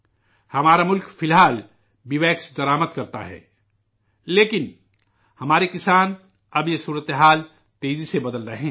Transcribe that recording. ہمارا ملک فی الحال بی ویکس درآمد کرتا ہے، لیکن، ہمارے کسان، اب یہ صورتحال ، تیزی سے بدل رہے ہیں